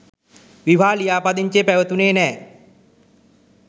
විවාහ ලියාපදිංචිය පැවතුණේ නෑ.